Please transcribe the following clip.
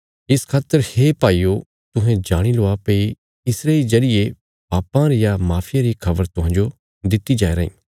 इस खातर हे भाईयो तुहें जाणी लवा भई इसरे इ जरिये पापां रिया माफिया री खबर तुहांजो दित्ति जाया राईं